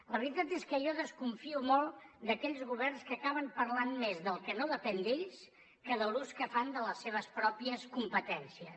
la veritat és que jo desconfio molt d’aquells governs que acaben parlant més del que no depèn d’ells que de l’ús que fan de les seves pròpies competències